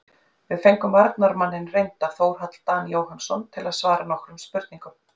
Við fengum varnarmanninn reynda Þórhall Dan Jóhannsson til að svara nokkrum spurningum.